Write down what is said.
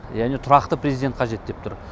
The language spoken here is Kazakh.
яғни тұрақты президент қажет деп тұр